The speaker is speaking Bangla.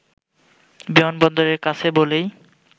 বিমানবন্দরের কাছে বলেই